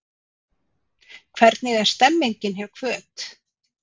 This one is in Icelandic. Hvernig er stemningin hjá Hvöt?